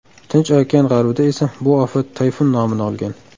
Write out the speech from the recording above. Tinch okean g‘arbida esa bu ofat tayfun nomini olgan.